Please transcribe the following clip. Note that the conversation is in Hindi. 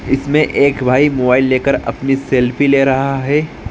इसमे एक भाई मोबाइल लेकर अपनी सेलफ़ी ले रहा है।